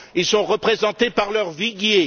Ils sont représentés par leur viguier.